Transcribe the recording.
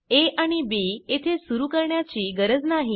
आ आणि बी येथे सुरू करण्याची गरज नाही